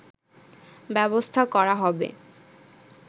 ব্যবস্থা করা হবে